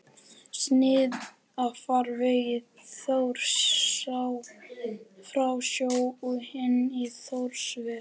Snið af farvegi Þjórsár frá sjó og inn í Þjórsárver.